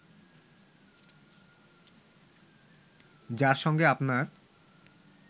যার সঙ্গে আপনার